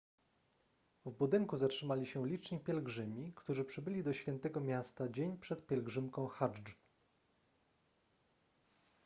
w budynku zatrzymali się liczni pielgrzymi którzy przybyli do świętego miasta dzień przed pielgrzymką hadżdż